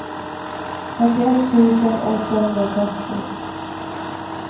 fyrtioett tusen åttahundratrettio